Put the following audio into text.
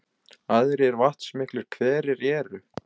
Aðrir vatnsmiklir hverir eru